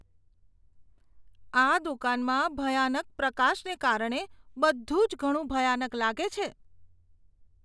આ દુકાનમાં ભયાનક પ્રકાશને કારણે બધું જ ઘણું ભયાનક લાગે છે.